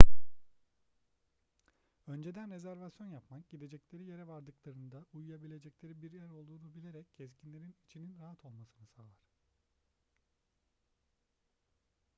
önceden rezervasyon yapmak gidecekleri yere vardıklarında uyuyabilecekleri bir yer olduğunu bilerek gezginlerin içinin rahat olmasını sağlar